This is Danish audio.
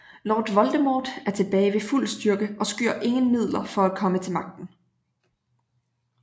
Lord Voldemort er tilbage ved fuld styrke og skyr ingen midler for at komme til magten